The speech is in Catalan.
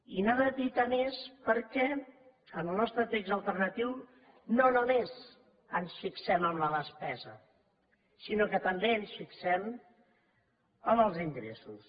i n’ha d’evitar més perquè en el nostre text alternatiu no només ens fixem en la despesa sinó que també ens fixem en els ingressos